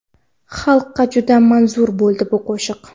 Xalqqa juda manzur bo‘ldi bu qo‘shiq.